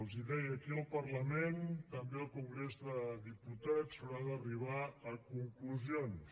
els deia aquí al parlament també al congrés de diputats s’haurà d’arribar a conclusions